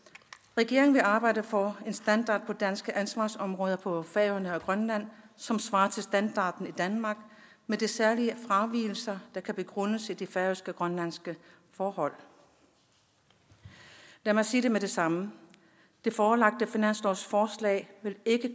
regeringen vil arbejde for en standard på danske ansvarsområder på færøerne og grønland som svarer til standarden i danmark med de særlige fravigelser der kan begrundes i de færøske og grønlandske forhold lad mig sige det med det samme det forelagte finanslovsforslag vil ikke